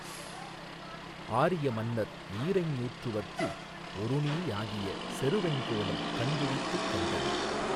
ஆரிய மன்னர் ஈரைஞ்ஞூற்றுவர்க்கு ஒருநீயாகிய செருவெங் கோலம் கண்விழித்துக் கண்டது